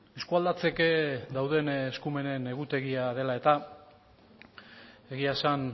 eskualdatzeke dauden eskumenen egutegia dela eta egia esan